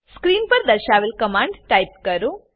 screen પર દર્શાવેલ command type કરો